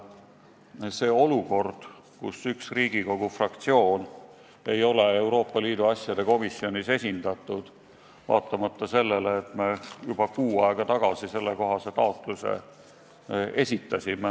Praegu on meil olukord, kus üks Riigikogu fraktsioon ei ole Euroopa Liidu asjade komisjonis esindatud, vaatamata sellele, et me juba kuu aega tagasi sellekohase taotluse esitasime.